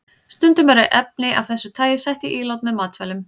Stundum eru efni af þessu tagi sett í ílát með matvælum.